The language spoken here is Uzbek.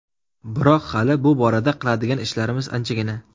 Biroq hali bu borada qiladigan ishlarimiz anchagina.